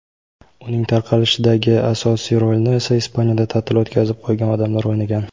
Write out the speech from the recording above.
uning tarqalishidagi asosiy rolni esa Ispaniyada ta’til o‘tkazib qaytgan odamlar o‘ynagan.